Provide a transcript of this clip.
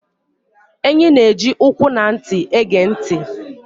Enyị́ nà-ẹji ụkwụ na ntị égè ntị.